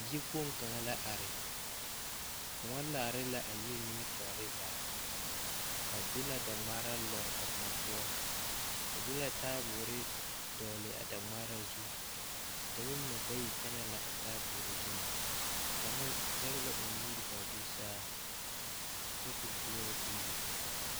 Yikpoŋ kaŋa la are koɔ laare la a yiri nimitɔɔre zaa ba de la daŋmaara lɔre a koɔ poɔ ba de la taaboore dɔgle a daŋmaara zu dɔba mine bayi kyɛnɛ la a taaboore zuŋ kaŋa zɛge la o nuuri k,a do saa kyɛ k o boɔrɔ k,o le.